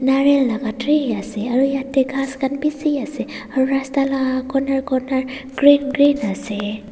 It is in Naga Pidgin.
narial laka tree ase aro yete kas kan bishi ase aro rasta la corner corner green green ase.